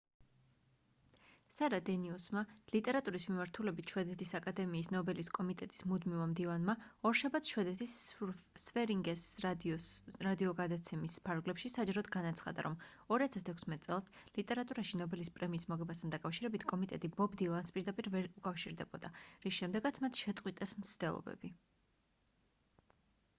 სარა დენიუსმა ლიტერატურის მიმართულებით შვედეთის აკადემიის ნობელის კომიტეტის მუდმივმა მდივანმა ორშაბათს შვედეთის sveriges radio-ს რადიო გადაცემის ფარგლებში საჯაროდ განაცხადა რომ 2016 წელს ლიტერატურაში ნობელის პრემიის მოგებასთან დაკავშირებით კომიტეტი ბობ დილანს პირდაპირ ვერ უკავშირდებოდა რის შემდეგაც მათ შეწყვიტეს მცდელობები